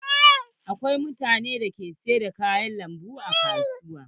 Akwai mutanen da ke sayar da kayan lambu a kasuwa.